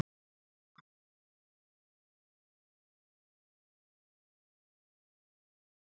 Játvarður, hvað er jörðin stór?